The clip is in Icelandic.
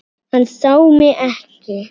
Hann sá mig ekki.